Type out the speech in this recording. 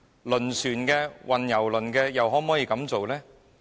輪船、運油輪又可不可以呢？